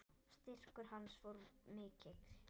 Styrkur hans var mikill.